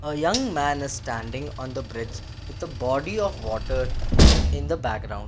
young man is standing on the bridge with the body of water in the background.